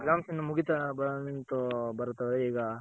Exams ಇನ್ನು ಮುಗಿತ್ತ ಬಂತು ಭರತ್ ಅವ್ರೆ ಈಗ